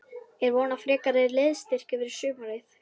Er von á frekari liðsstyrk fyrir sumarið?